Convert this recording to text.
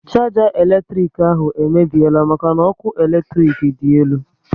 Sharger elektrik ahụ emebiela maka n'ọkụ eletrik dị elu